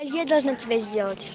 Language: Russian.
я должна тебя сделать